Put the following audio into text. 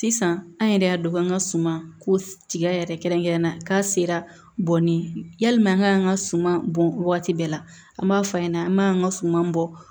Sisan an yɛrɛ y'a dɔn k'an ka suman ko tigɛ yɛrɛ kɛrɛnkɛrɛnnen na k'a sera bɔnni yalima an ka an ka suman bɔn waati bɛɛ la an b'a fɔ a ɲɛna an b'an ka suman bɔ